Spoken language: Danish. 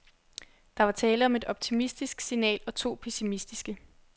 Der var tale om et optimistisk signal og to pessimistiske.